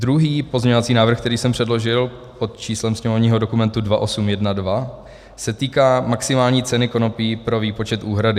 Druhý pozměňovací návrh, který jsem předložil pod číslem sněmovního dokumentu 2812, se týká maximální ceny konopí pro výpočet úhrady.